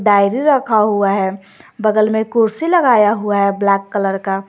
Diary रखा हुआ है बगल में कुर्सी लगाया हुआ है ब्लैक कलर का।